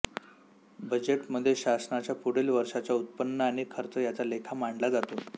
budget मध्ये शासनाच्या पुढील वर्षांच्या उत्पन्न आणि खर्च याचा लेखा मांडला जातो